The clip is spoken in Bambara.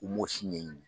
U m'o si ɲɛɲini